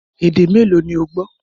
Èdè mẹ́ẹ́lo ni ó gbọ́?